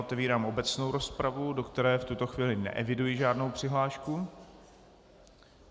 Otevírám obecnou rozpravu, do které v tuto chvíli neeviduji žádnou přihlášku.